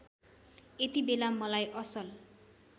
यतिबेला मलाई असल